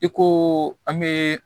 I ko an bɛ